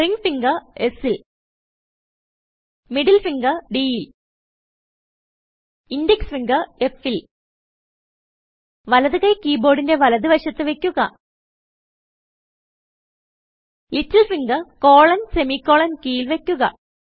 ring finger S ൽ middle ഫിംഗർDൽ index ഫിംഗർFൽ വലത് കൈ കീ ബോർഡിന്റെ വലത് വശത്ത് വയ്ക്കുക ലിറ്റിൽ ഫിംഗർ colonsemi കോളൻ കീയിൽ വയ്ക്കുക